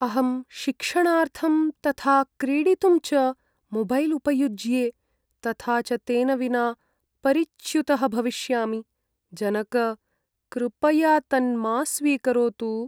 अहं शिक्षणार्थं तथा क्रीडितुं च मोबैल् उपयुज्ये तथा च तेन विना परिच्युतः भविष्यामि, जनक। कृपया तन्मा स्वीकरोतु।